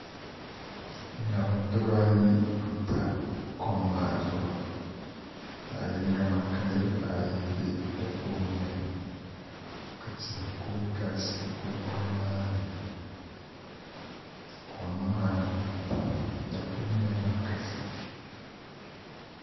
ŋarim dibaayi n pa kom maa zuɣu zaɣ yinga maa ka niraba ayi bɛ di puuni ka tihi kuli galisi kuligi maa ni kom maa niɛ pam di kuli niɛmi kasi